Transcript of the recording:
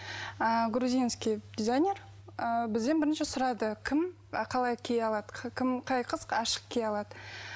ыыы грузинский дизайнер ы бізден бірінші сұрады кім і қалай кие алады қай қыз ашық кие алады